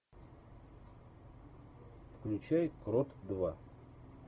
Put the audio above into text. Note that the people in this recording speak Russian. включай крот два